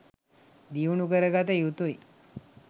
දියුණු කරගත යුතුයි